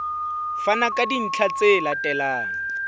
fana ka dintlha tse latelang